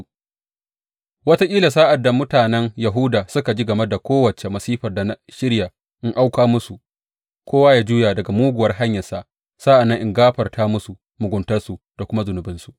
Wataƙila sa’ad da mutanen Yahuda suka ji game da kowace masifar da na shirya in auka musu, kowa ya juya daga muguwar hanyarsa; sa’an nan in gafarta musu muguntarsu da kuma zunubinsu.